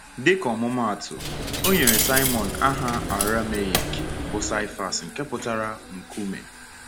Dịka ọmụmaatụ, o nyere Saịmọn aha Arameik bụ́ Sifas nke pụtara “Nkume.”